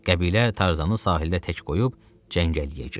Qəbilə Tarzanı sahildə tək qoyub cəngəliyə girdi.